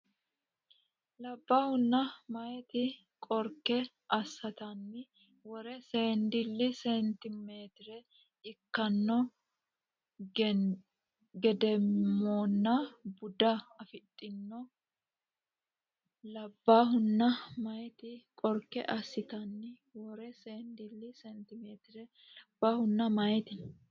Labbaahunna meyaate Qorke assatenni worre seendilli seentimeetire ikkanno Geedimonna buuda afidhino Labbaahunna meyaate Qorke assatenni worre seendilli seentimeetire Labbaahunna meyaate.